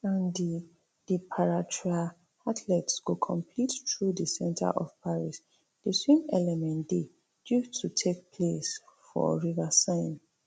and di di paratriathletes go compete through di centre of paris di swim element dey due to take place for river seine